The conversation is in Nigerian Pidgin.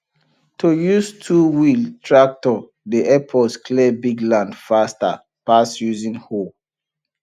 to use twowheel tractor dey help us clear big land faster pass using hoe